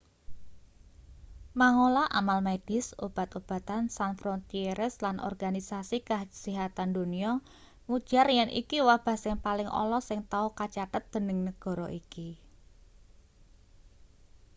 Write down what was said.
mangola amal medis obat-obatan sans frontieres lan organisasi kasihatan donya ngujar yen iki wabah sing paling ala sing tau kacathet dening negara iki